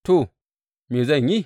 To, me zan yi?